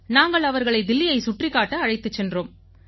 நாங்கள் அவர்களை தில்லியைச் சுற்றிக் காட்ட அழைத்துச் சென்றோம்